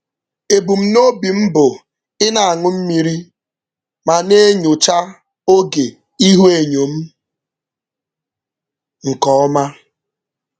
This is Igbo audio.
Ebumnobi m bụ ị na-aṅụ mmiri ma na-enyocha oge ihuenyo m nke ọma.